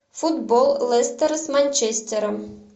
футбол лестер с манчестером